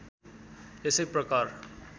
यसै प्रकार